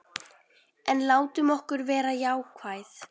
En látum okkur vera jákvæð.